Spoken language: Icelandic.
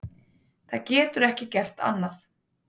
Það getur ekki gert annað.